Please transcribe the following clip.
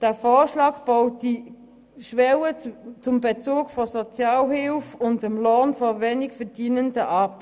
Dieser Vorschlag baut die Schwelle von Sozialhilfe und wenig Lohn ab.